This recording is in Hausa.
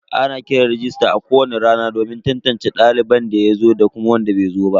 Ana kiran rajista a kowani rana domin tantance daliban da suka zo da wainda basu zo ba.